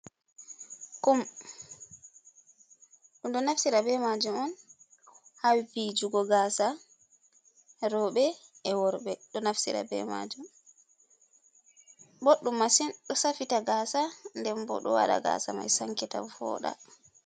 Kum, ɗum ɗo naftira be majum on haviwkugo gasa rewɓɓe e worɓe ɗo naftira be majum, boɗɗum massin ɗo safita gasa den bo ɗo waɗa gasa mai sankita voɗa.